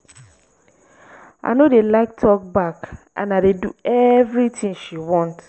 i no dey like talk back and i dey do everything she want